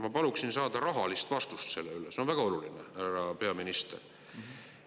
Ma paluksin saada rahalist vastust selle üle, see on väga oluline, härra peaminister.